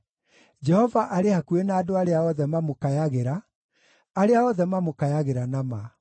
Jehova arĩ hakuhĩ na andũ arĩa othe mamũkayagĩra, arĩa othe mamũkayagĩra na ma.